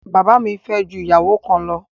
Bàbá mi fẹ́ ju ìyàwó kan lọ.